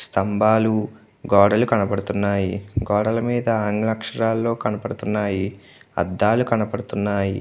స్తంబాలు గోడలు కనబడుతున్నాయి. గోడలు మీద ఆంగ్ల అక్షారాలు కనబడుతున్నాయి. అద్దాలు కనబడుతున్నాయి.